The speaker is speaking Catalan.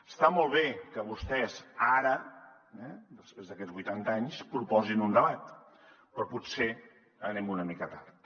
està molt bé que vostès ara després d’aquests vuitanta anys proposin un debat però potser anem una mica tard